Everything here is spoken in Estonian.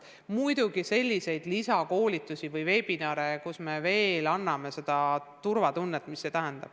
Muidugi on lisakoolitusi ehk vebinare, kus me anname turvatunnet ja rohkem teavet.